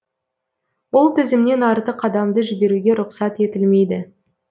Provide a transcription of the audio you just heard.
ол тізімнен артық адамды жіберуге рұқсат етілмейді